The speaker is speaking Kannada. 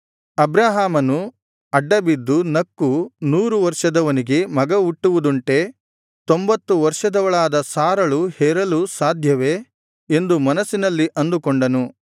ಅಬ್ರಹಾಮನು ಅಡ್ಡ ಬಿದ್ದು ನಕ್ಕು ನೂರು ವರ್ಷದವನಿಗೆ ಮಗ ಹುಟ್ಟುವುದುಂಟೇ ತೊಂಭತ್ತು ವರ್ಷದವಳಾದ ಸಾರಳು ಹೆರಲು ಸಾಧ್ಯವೇ ಎಂದು ಮನಸ್ಸಿನಲ್ಲಿ ಅಂದುಕೊಂಡನು